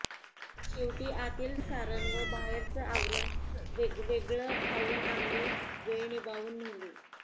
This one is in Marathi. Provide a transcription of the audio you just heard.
शेवटी आतील सारण व बाहेरचं आवरण वेगवेगळं खाऊन आम्ही वेळ निभाऊन नेली